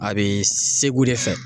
A bi segu de fɛ.